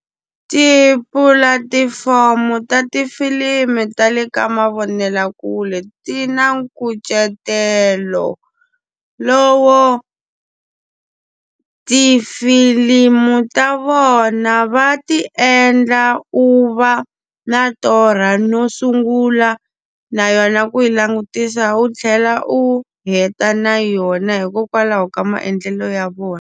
Tipulatifomo ta tifilimu ta le ka mavonelakule ti na nkucetelo lowo, tifilimu ta vona va ti endla u va na torha no sungula na yona ku yi langutisa u tlhela u heta na yona hikokwalaho ka maendlelo ya vona.